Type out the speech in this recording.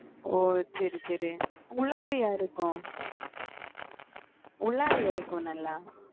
ஓஹ் சரி சரி உள்ளாடியா இருக்கும் உள்ளாடி இருக்கும் நல்லா